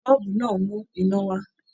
Bọ́ọ̀bù máa ńmú iná wá.